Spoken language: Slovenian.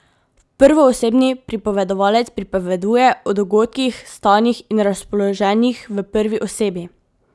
Prvoosebni pripovedovalec pripoveduje o dogodkih, stanjih in razpoloženjih v prvi osebi.